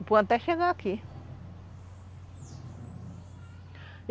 Empurrando até chegar aqui.